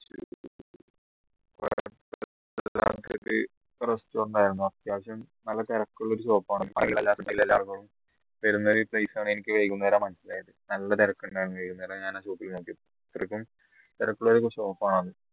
restaurant അത്യാവശ്യം നല്ല തിരക്കുള്ള ഒരു shop ആണ് വരുന്ന ഒരു place ആണ് എനിക്ക് വൈകുന്നേര മനസ്സിലായത് നല്ല തിരക്കുണ്ടായിരുന് വൈകുന്നേരം ഞാൻ ആ shop ൽ നോക്കിയപ്പോ അത്രക്കും തിരക്കുള്ള shop ണ്